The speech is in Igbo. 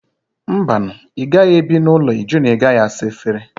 Mba nụ! ị gaghị ebi n'ụlọ ịjụ na ị gaghị asa efere